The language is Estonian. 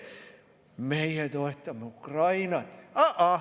Meie toetame Ukrainat!